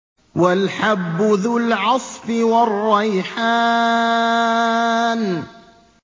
وَالْحَبُّ ذُو الْعَصْفِ وَالرَّيْحَانُ